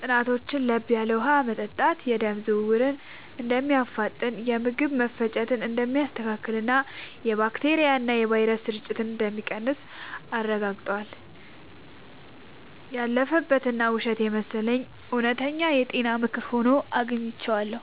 ጥናቶች ለብ ያለ ውሃ መጠጣት የደም ዝውውርን እንደሚያፋጥን፣ የምግብ መፈጨትን እንደሚያስተካክልና የባክቴሪያና ቫይረስ ስርጭትን እንደሚቀንስ አረጋግጠዋል። ያለፈበት እና ውሸት የመሰለው እውነተኛ የጤና ምክር ሆኖ አግኝቼዋለሁ።